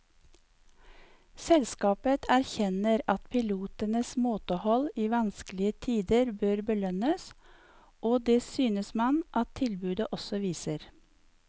Selskapet erkjenner at pilotenes måtehold i vanskelige tider bør belønnes, og det synes man at tilbudet også viser.